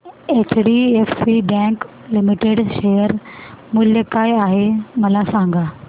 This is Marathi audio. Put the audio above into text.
एचडीएफसी बँक लिमिटेड शेअर मूल्य काय आहे मला सांगा